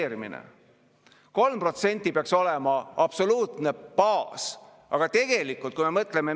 Suurepärane uudis, saame ka järgmise teemaga sisukalt edasi minna.